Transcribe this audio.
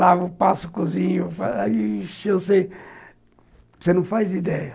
Lavo, passo, cozinho... eu sei... você não faz ideia.